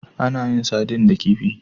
Ana yin sardine da kifi.